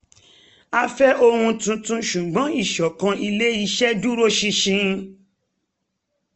a fẹ́ ohun tuntun ṣùgbọ́n ìsọ̀kan ilé-iṣẹ́ dúró ṣinṣin